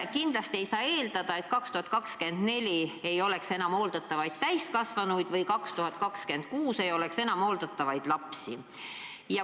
Kindlasti ei saa eeldada, et aastal 2024 ei ole enam hooldatavaid täiskasvanuid või aastal 2026 ei ole enam hooldatavaid lapsi.